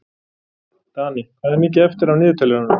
Danni, hvað er mikið eftir af niðurteljaranum?